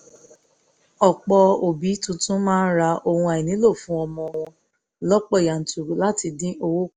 ọ̀pọ̀ òbí tuntun máa ń ra ohun àìnílò fún ọmọ wọn lọ́pọ̀ yanturu láti dín owó kù